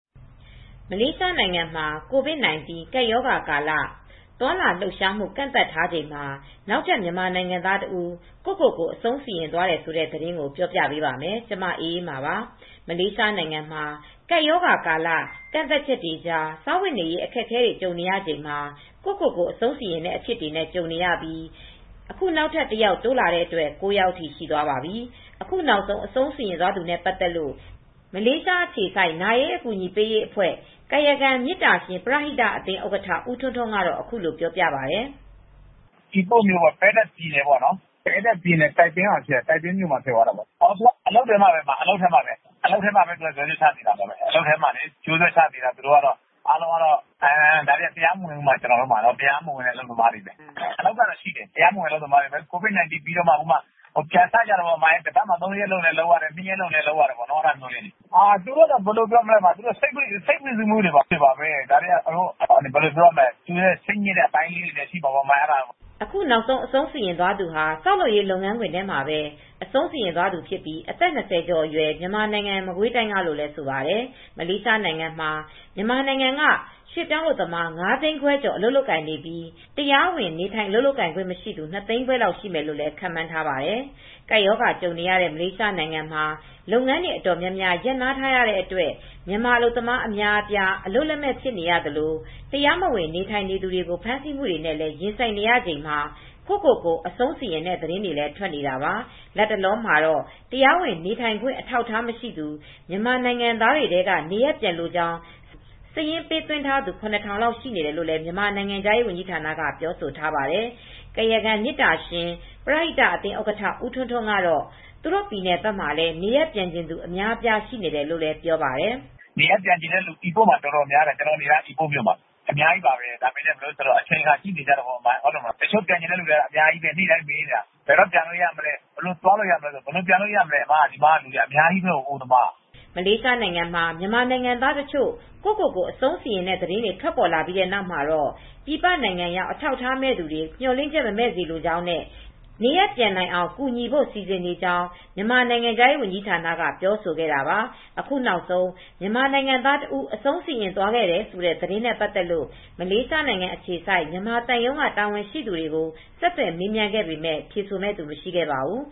မလေးရှားနိုင်ငံမှာ COVID-19 ကပ်ရောဂါကာလ သွားလာလှုပ်ရှားမှု ကန့်သတ်ထားချိန်မှာ နောက်ထပ် မြန်မာနိုင်ငံသားတဦး ကိုယ့်ကိုယ်ကို အဆုံးစီရင်သွားတယ်ဆိုတဲ့ သတင်းကိုပြောပြပေးပါမယ်။ ဗွီအိုအေမြန်မာပိုင်းသတင်းထောက် မအေးအေးမာက တင်ပြပေးပါမယ်။ မလေးရှားနိုင်ငံမှာ ကပ်ရောဂါကာလ ကန့်သတ်ချက်တွေကြား စားဝတ်နေရေး အခက်အခဲ ကြုံနေရချိန်မှာ ကိုယ့်ကိုယ်ကို အဆုံးစီရင်တဲ့ အဖြစ်တွေနဲ့ ကြုံနေရပြီး အခုနောက်ထပ်တယောက် တိုးလာတဲ့အတွက် ၉ ယောက်အထိ ရှိသွားပါပြီ။ အခုနောက်ဆုံး အဆုံးစီရင်သွားသူနဲ့ ပတ်သက်လို့ မလေးရှားအခြေစိုက် နာရေးအကူအညီပေးရေးအဖွဲ့ကာယကံမေတ္တာရှင်ပရဟိတအသင်း ဥက္ကဌ ဦးထွန်းထွန်းက အခုလိုပြောပြပါတယ်။ "Perak ပဲရပ်ပြည်နယ် Tiping တိုင်ပင်းမြို့နယ်မှာဖြစ်တာ အလုပ်ထဲမှာပဲဖြစ်တာ ကြိုးဆွဲချသေးတာ သူတို့အားလုံးက တရားမဝင်အလုပ်သမားတွေပဲ အလုပ်ကတော့ ရှိတယ်။ ကိုဗစ်ပြီးမှ အလုပ်က အခုမှ ပြန်စရတာ တပတ်မှာ ၃ ရက် ၄ ရက်လုပ်ရတာ ၂ ရက်လုပ်ရတာတွေ ရှိတယ်။ သူတို့မှာလည်း စိတ်ဖိစီးမူတွေကြောင့် ဖြစ်လာတာပဲ ဘယ်လိုပြောရမလဲ စိတ်ညစ်တဲ့ အပိုင်းလေးတွေလည်း ရှိမှာပေါ့။" အခုနောက်ဆုံး အဆုံးစီရင်သွားသူဟာ ဆောက်လုပ်ရေး လုပ်ငန်းခွင်ထဲမှာ အဆုံးစီရင်သွားသူဖြစ်ပြီး အသက် ၂၀ ကျော်အရွယ် မြန်မာနိုင်ငံ မကွေးတိုင်းကလို့လည်း ဆိုပါတယ်။ မလေးရှားနိုင်ငံမှာ မြန်မာနိုင်ငံက ရွှေ့ပြောင်းအလုပ်သမား ၅၅၀,၀၀၀ ကျော်လောက် အလုပ်လုပ်ကိုင်နေပြီး တရားဝင် နေထိုင်အလုပ်လုပ်ကိုင်ခွင့် မရှိသူ ၂၅၀,၀၀၀ လောက် ရှိမယ်လို့လည်း ခန့်မှန်းထားပါတယ်။ ကပ်ရောဂါကြုံနေရတဲ့ မလေးရှားနိုင်ငံမှာ လုပ်ငန်းတွေ တော်တော်များများ ရပ်နားထားရတဲ့အတွက် မြန်မာအလုပ်သမား အများအပြား အလုပ်လက်မဲ့ ဖြစ်နေရသလို တရားမဝင် နေထိုင်သူတွေကို ဖမ်းဆီးမှုတွေနဲ့လည်း ရင်ဆိုင်နေရချိန်မှာ ကိုယ့်ကိုယ်ကို အဆုံးစီရင်တဲ့ သတင်းတွေလည်း ထွက်နေတာပါ။ လတ်တလောမှာတော့ တရားဝင်နေထိုင်ခွင့် အထောက်အထားမရှိသူ မြန်မာနိုင်ငံသားတွေထဲက နေရပ်ပြန်လိုကြောင်း စာရင်းပေးထားသူ ၇,၀၀၀ လောက် ရှိတယ်လို့လည်း မြန်မာနိုင်ငံခြားရေးဝန်ကြီးဌာနက ပြောဆိုထားပါတယ်။ ကာယကံမေတ္တာရှင်ပရဟိတအသင်း ဥက္ကဋ္ဌ ဦးထွန်းထွန်းက ကတော့ သူတို့ပြည်နယ်ဘက်မှာလည်း နေရပ်ပြန်ချင်သူ အများအပြား ရှိနေတယ်လို့ပြောပါတယ်။ "နေရပ်ပြန်ချင်တဲ့သူ အိပို့မှာ အတော်များတယ် ကျနော်နေတာ Eipoh မှာနေတာ နေ့တိုင်း မေးနေတာ ဘယ်လိုပြန်လို့ရမလဲမေးနေကြတာ ဒီမှာ အိုဗာစတေး သမားတွေကအများကြီးပဲ။" မလေးရှားနိုင်ငံမှာ မြန်မာနိုင်ငံသားတချို့ ကိုယ့်ကိုယ်ကို အဆုံးစီရင်တဲ့ သတင်းတွေ ထွက်ပေါ်လာပြီးနောက်မှာတော့ ပြည်ပနိုင်ငံရောက် အထောက်အထားမဲ့သူတွေ မျှော်လင့်ချက်မမဲ့စေလိုကြောင်းနဲ့ နေရပ်ပြန်နိုင်အောင် ကူညီဖို့ စီစဉ်နေကြောင်း မြန်မာနိုင်ငံခြားရေးဝန်ကြီးဌာနက ပြောဆိုခဲ့တာပါ။ အခုနောက်ဆုံး မြန်မာနိုင်ငံသားတဦး အဆုံးစီရင်သွားတဲ့ဆိုတဲ့ သတင်းနဲ့ ပတ်သက်လို့ မလေးရှားနိုင်ငံ အခြေစိုက် မြန်မာသံရုံး တာဝန်ရှိသူတွေကို ဆက်သွယ်မေးမြန်းခဲ့ပေမဲ့ဖြေဆိုသူ မရှိခဲ့ပါဘူး